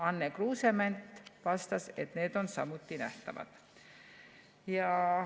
Anne Kruusement vastas, et need on samuti nähtavad.